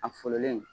A fololen